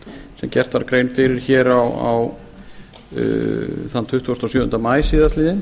sem gert var grein fyrir hér þann tuttugasta og sjöunda maí síðastliðinn